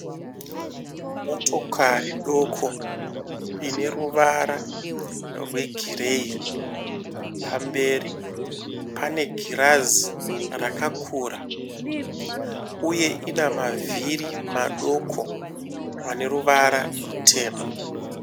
Motokari doko ine ruwara rwe gireyi pamberi pane girazi rakakura uye ina mavhiri madoko ane ruwara rutema.